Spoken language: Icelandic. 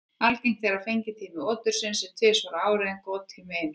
Algengt er að fengitími otursins sé tvisvar á ári en gottími einu sinni.